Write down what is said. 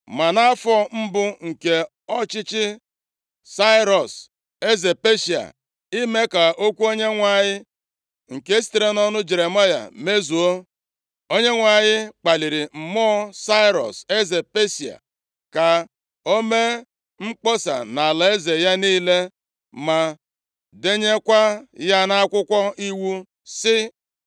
Ma nʼafọ mbụ nke ọchịchị Sairọs eze Peshịa, ime ka okwu Onyenwe anyị nke sitere nʼọnụ Jeremaya mezuo, Onyenwe anyị kpaliri mmụọ Sairọs, eze Peshịa ka o mee mkpọsa nʼalaeze ya niile, ma denyekwa ya nʼakwụkwọ iwu, sị,